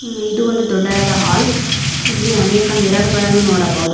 ಇದು ಒಂದು ದೊಡ್ಡದಾದ ಹಾಲ್ ಇಲ್ಲಿ ಅನೇಕ ಮಿರರ್ ಗಳನ್ನು ನೋಡಬಹುದು.